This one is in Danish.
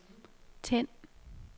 tænd